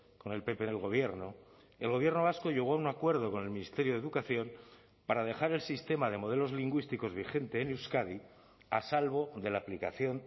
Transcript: con el pp en el gobierno el gobierno vasco llegó a un acuerdo con el ministerio de educación para dejar el sistema de modelos lingüísticos vigente en euskadi a salvo de la aplicación